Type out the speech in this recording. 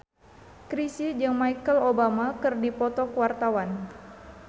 Chrisye jeung Michelle Obama keur dipoto ku wartawan